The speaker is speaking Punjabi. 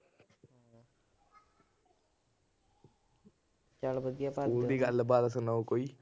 ਸਕੂਲ ਦੀ ਗੱਲਬਾਤ ਸੁਣਾਓ ਕੋਈ।